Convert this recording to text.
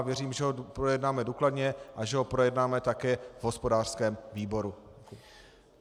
A věřím, že ho projednáme důkladně a že ho projednáme také v hospodářském výboru.